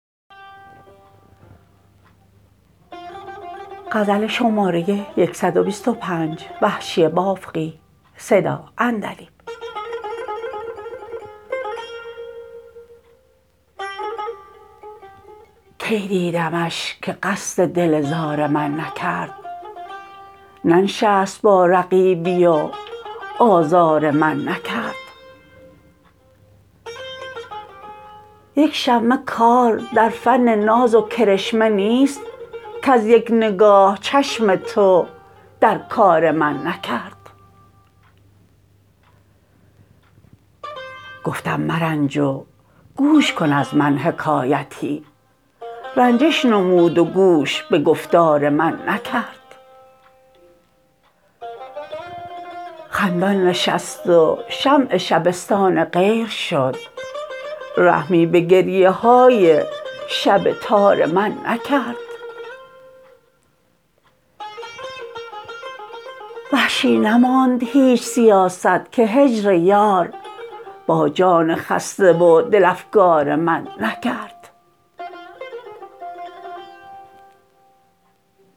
کی دیدمش که قصد دل زار من نکرد ننشست با رقیبی و آزار من نکرد یک شمه کار در فن ناز و کرشمه نیست کز یک نگاه چشم تو در کار من نکرد گفتم مرنج و گوش کن از من حکایتی رنجش نمود و گوش به گفتار من نکرد خندان نشست و شمع شبستان غیر شد رحمی به گریه های شب تار من نکرد وحشی نماند هیچ سیاست که هجر یار با جان خسته و دل افکار من نکرد